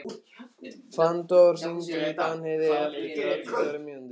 Fannþór, hringdu í Danheiði eftir þrjátíu og fjórar mínútur.